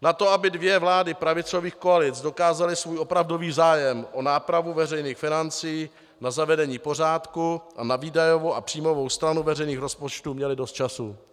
Na to, aby dvě vlády pravicových koalic dokázaly svůj opravdový zájem o nápravu veřejných financí, na zavedení pořádku a na výdajovou a příjmovou stranu veřejných rozpočtů měly dost času.